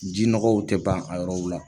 Ji nɔgɔw tɛ ban a yɔrɔw la.